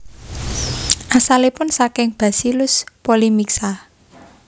Asalipun saking Bacillus polymixa